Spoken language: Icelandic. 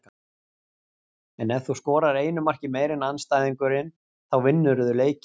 En ef þú skorar einu marki meira en andstæðingurinn þá vinnurðu leikinn.